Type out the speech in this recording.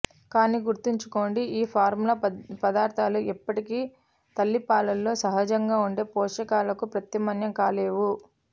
కానీ గుర్తుంచుకోండి ఈ ఫార్ములా పదార్థాలు ఎప్పటికీ తల్లిపాలలో సహజంగా ఉండే పోషకాలకు ప్రత్యామ్నాయం కాలేవు